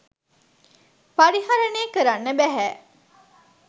පරිහරණය කරන්න බැහැ